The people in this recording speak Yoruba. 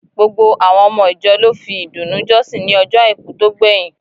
Gbogbo àwọn ọmọ ìjọ lò fi ìdùnnú jọsin ní ọjọ àìkú to gbẹyin.